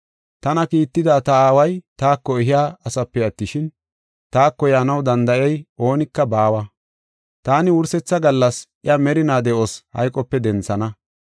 Tana kiitida ta Aaway taako ehiya asape attishin, taako yaanaw danda7iya oonika baawa. Taani wursetha gallas iya merinaa de7os hayqope denthana.